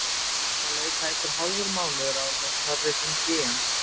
Það leið tæpur hálfur mánuður áður en Snorri hringdi í hann.